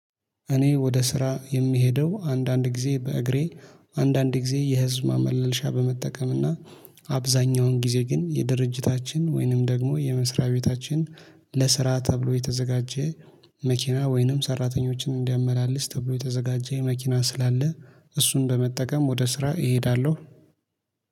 እኔ ወደ ስራ የምሄደው አንዳንድ ጊዜ በእግሬ አንዳንድ ጊዜ የህዝብ ማመላለሻ በመጠቀምና አብዛኛውን ጊዜ ግን የድርጅታችን ወይንም ደግሞ የመስሪያ ቤታችን ለስራ ተብሎ የተዘጋጀ መኪና ወይንም ሰራተኞችን እንዲያመላልስ ተብሎ የተዘጋጀ የመኪና ስላለ እሱን በመጠቀም ወደ ስራ እሄዳለሁ